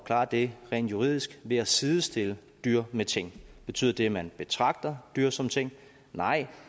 klare det rent juridisk ved at sidestille dyr med ting betyder det at man betragter dyr som ting nej